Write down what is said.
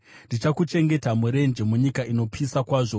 Ndakakuchengeta murenje, munyika inopisa kwazvo.